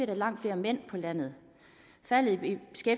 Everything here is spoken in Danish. der langt flere mænd på landet faldet